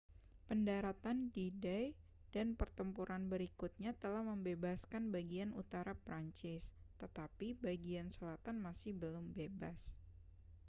pendaratan d-day dan pertempuran berikutnya telah membebaskan bagian utara prancis tetapi bagian selatan masih belum bebas